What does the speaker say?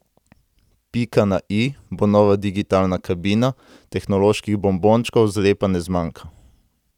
Pika na i bo nova digitalna kabina, tehnoloških bonbončkov zlepa ne zmanjka.